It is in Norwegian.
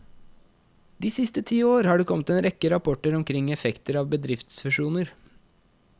De siste ti år har det kommet en rekke rapporter omkring effekter av bedriftsfusjoner.